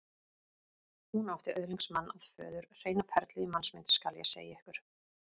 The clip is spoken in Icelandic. Hún átti öðlingsmann að föður, hreina perlu í mannsmynd, skal ég segja ykkur.